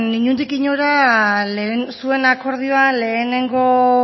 inondik inora zuen akordioan lehenengo